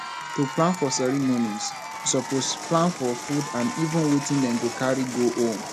to plan for ceremonies you suppose plan for food and even wetin dem go carry go home